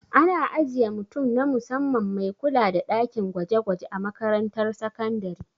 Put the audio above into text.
Ana ajiye mutum na musamman mai kula da ɗakin gwaje-gwaje a makarantar sakandare.